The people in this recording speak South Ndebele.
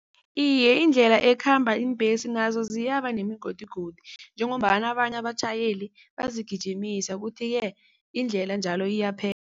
Iye, indlela ekhamba iimbhesi nazo ziyaba nemigodigodi njengombana abanye abatjhayeli bazigijimisa kuthi-ke indlela njalo